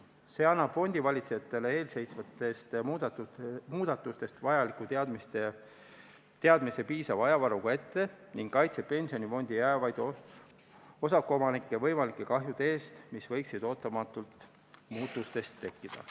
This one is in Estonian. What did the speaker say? Muudatus annab fondivalitsejatele eelseisvatest muudatustest vajaliku teadmise piisava ajavaruga ette ning kaitseb pensionifondi jäävaid osakuomanikke võimalike kahjude eest, mis võiksid ootamatult muutustest tekkida.